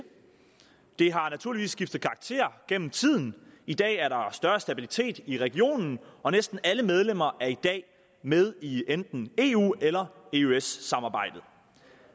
det har naturligvis skiftet karakter gennem tiden i dag er der større stabilitet i regionen og næsten alle medlemmer er i dag med i enten eu eller eøs samarbejdet